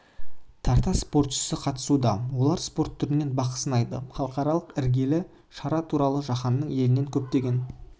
тарта спортшысы қатысуда олар спорт түрінен бақ сынайды халықаралық іргелі шара туралы жаһанның елінен көптеген